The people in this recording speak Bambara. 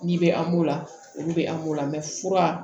N'i bɛ an b'o la olu bɛ an b'o la fura